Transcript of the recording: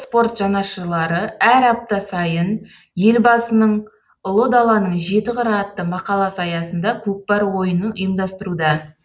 спорт жанашырлары әр апта сайын елбасының ұлы даланың жеті қыры атты мақаласы аясында көкпар ойынын ұйымдастыруда